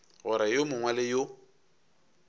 gore yo mongwe le yo